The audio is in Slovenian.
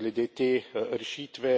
glede te rešitve.